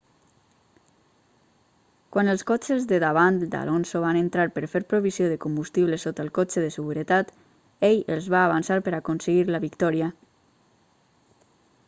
quan els cotxes de davant d'alonso van entrar per fer provisió de combustible sota el cotxe de seguretat ell els va avançar per aconseguir la victòria